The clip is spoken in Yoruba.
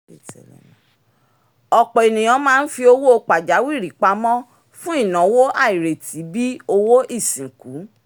ọ̀pọ̀ ènìyàn máa ń fi owó pajawìrì pamọ́ fún ináwó àìrètí bíi owó ìsìnkú